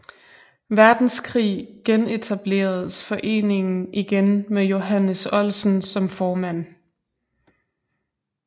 Verdenskrig genetableredes foreningen igen med Johannes Oldsen som formand